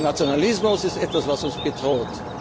und gegen den Nationalismus. Der Nationalismus